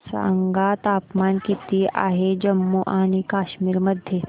सांगा तापमान किती आहे जम्मू आणि कश्मीर मध्ये